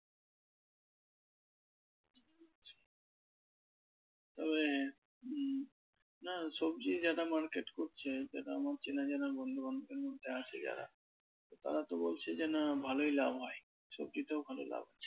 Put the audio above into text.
তো এ উম না সবজির যারা market করছে যারা আমার চেনা জানা বন্ধু বান্ধবের মধ্যে আছে যারা তারা তো বলছে যে না, ভালই লাভ হয় সবজিতেও ভালো লাভ।